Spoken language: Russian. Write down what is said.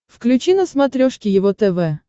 включи на смотрешке его тв